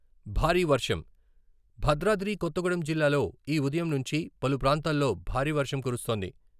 భారీ వర్షం భద్రాద్రి కొత్తగూడెం జిల్లాలో ఈ ఉదయం నుంచి పలు ప్రాంతాల్లో భారీ వర్షం కురుస్తోంది.